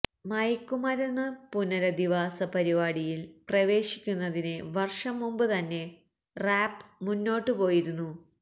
മയക്കുമരുന്ന് പുനരധിവാസ പരിപാടിയിൽ പ്രവേശിക്കുന്നതിന് വർഷം മുൻപ് തന്നെ റാപ്പ് മുന്നോട്ടുപോയിരുന്നു